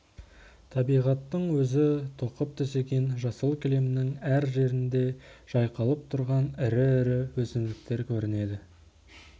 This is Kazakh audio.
табиғаттың өзі тоқып төсеген жасыл кілемнің әр жерінде жайқалып тұрған ірі-ірі өсімдіктер көрінеді